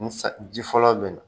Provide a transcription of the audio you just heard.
Ni san ji fɔlɔ bɛna